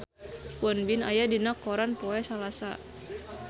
Won Bin aya dina koran poe Salasa